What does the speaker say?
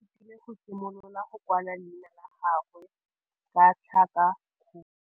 Moithuti o ithutile go simolola go kwala leina la gagwe ka tlhakakgolo.